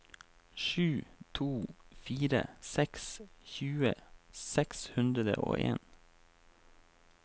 sju to fire seks tjue seks hundre og en